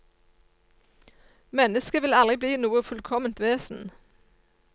Mennesket vil aldri bli noe fullkomment vesen.